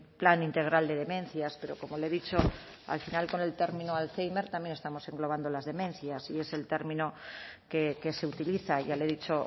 plan integral de demencias pero como le he dicho al final con el término alzhéimer también estamos englobando las demencias y es el término que se utiliza ya le he dicho